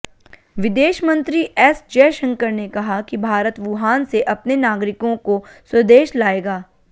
विदेश मंत्री एस जयशंकर ने कहा कि भारत वुहान से अपने नागरिकों को स्वदेश लाएगा